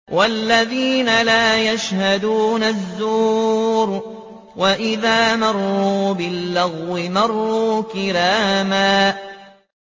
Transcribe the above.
وَالَّذِينَ لَا يَشْهَدُونَ الزُّورَ وَإِذَا مَرُّوا بِاللَّغْوِ مَرُّوا كِرَامًا